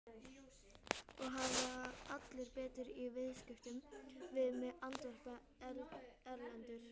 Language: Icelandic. Það hafa allir betur í viðskiptum við mig, andvarpaði Erlendur.